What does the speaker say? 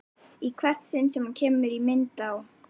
Í hvert sinn sem hann kemur í mynd á